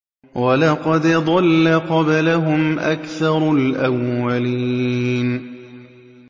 وَلَقَدْ ضَلَّ قَبْلَهُمْ أَكْثَرُ الْأَوَّلِينَ